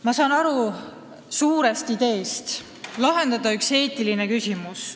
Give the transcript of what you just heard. Ma saan aru suurest ideest, et tuleb lahendada üks eetiline küsimus.